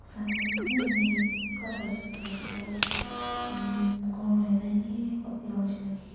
sai she koi leh tetuh mm ghor nahoi nah eni hotel nishina dikhi.